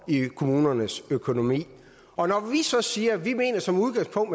i kommunernes økonomi og når vi så siger at vi som udgangspunkt